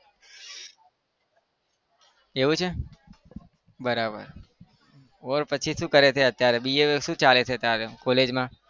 એવું છે બરાબર બોલ પછી શું કરે છે અત્યારે BA શું ચાલે છે college માં?